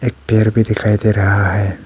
एक पेड़ भी दिखाई दे रहा है।